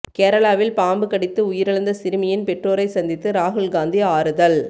கேரளாவில் பாம்பு கடித்து உயிரிழந்த சிறுமியின் பெற்றோரை சந்தித்து ராகுல் காந்தி ஆறுதல்